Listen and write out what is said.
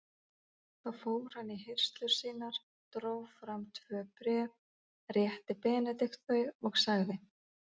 Þá fór hann í hirslur sínar, dró fram tvö bréf, rétti Benedikt þau og sagði